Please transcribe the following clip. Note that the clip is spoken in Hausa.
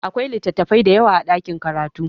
Akwai littattafai da yawa a ɗakin karatu.